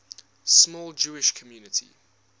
small jewish community